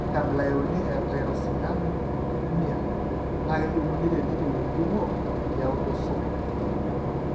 Orw enkabila euni eTyrosinemia naa kejung'uni tenetiu enjung'o eautosomal.